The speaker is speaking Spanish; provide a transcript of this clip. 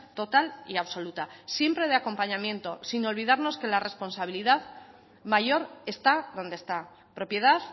total y absoluta siempre de acompañamiento sin olvidarnos que la responsabilidad mayor está donde está propiedad